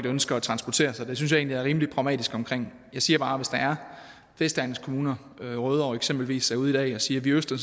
ønsker at transportere sig det synes jeg egentlig jeg er rimelig pragmatisk omkring jeg siger bare at hvis der er vestegnskommuner rødovre eksempelvis er ude i dag at sige vi ønsker